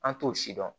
An t'o si dɔn